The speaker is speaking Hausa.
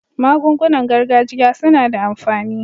Magungunan gargajiya suna da amfani.